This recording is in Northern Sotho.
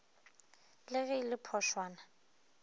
le ge e le phošwana